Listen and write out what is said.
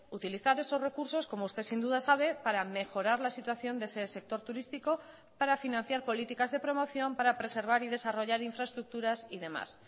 utilizar esos recursos como usted sin duda sabe para mejorar la situación de ese sector turístico para financiar políticas de promoción para preservar y desarrollar infraestructuras y demás